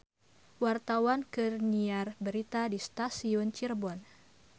Wartawan keur nyiar berita di Stasiun Cirebon